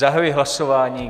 Zahajuji hlasování.